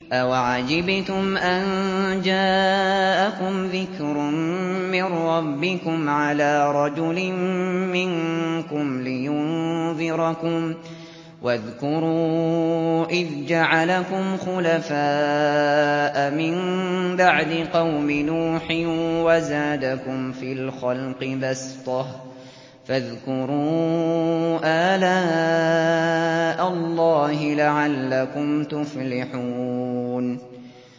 أَوَعَجِبْتُمْ أَن جَاءَكُمْ ذِكْرٌ مِّن رَّبِّكُمْ عَلَىٰ رَجُلٍ مِّنكُمْ لِيُنذِرَكُمْ ۚ وَاذْكُرُوا إِذْ جَعَلَكُمْ خُلَفَاءَ مِن بَعْدِ قَوْمِ نُوحٍ وَزَادَكُمْ فِي الْخَلْقِ بَسْطَةً ۖ فَاذْكُرُوا آلَاءَ اللَّهِ لَعَلَّكُمْ تُفْلِحُونَ